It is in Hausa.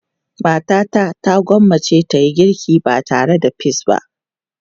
Matata ta gwammace ta yi girki ba tare da peas ba.